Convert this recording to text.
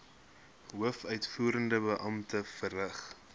hoofuitvoerende beampte verrig